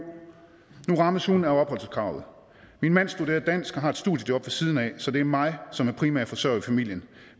nu rammes hun af opholdskravet min mand studerer dansk og har et studiejob ved siden af så det er mig som er primærforsørger i familien